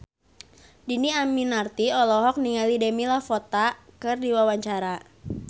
Dhini Aminarti olohok ningali Demi Lovato keur diwawancara